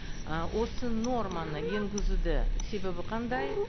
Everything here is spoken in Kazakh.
і осы норманы енгізуді себебі қандай